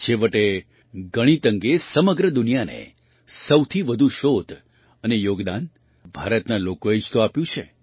છેવટે ગણિત અંગે સમગ્ર દુનિયાને સૌથી વધુ શોધ અને યોગદાન ભારતના લોકોએ જ તો આપ્યું છે